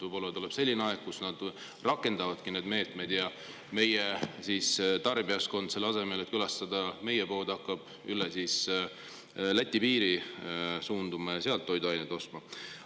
Võib-olla tuleb selline aeg, kui nad rakendavadki neid meetmeid ja meie tarbijaskond, selle asemel et külastada meie poode, hakkab üle Läti piiri suunduma ja sealt toiduaineid ostma.